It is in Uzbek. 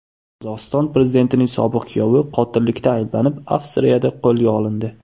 Qozog‘iston prezidentining sobiq kuyovi qotillikda ayblanib, Avstriyada qo‘lga olindi.